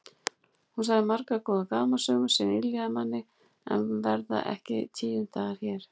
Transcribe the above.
Hún sagði margar góðar gamansögur sem yljuðu manni en verða ekki tíundaðar hér.